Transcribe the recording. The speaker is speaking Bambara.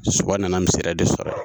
Soba nana misiri yɛrɛ de sɔrɔ yen